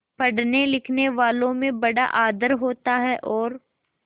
पढ़नेलिखनेवालों में बड़ा आदर होता है और